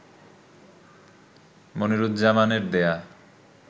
মনিরুজ্জামানের দেয়া